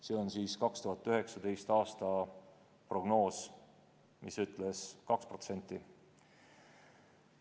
See on 2019. aasta prognoos, mis ütles 2%.